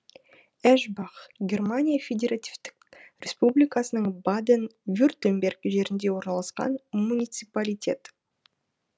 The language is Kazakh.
эшбах германия федеративтік республикасының баден вюртемберг жерінде орналасқан муниципалитет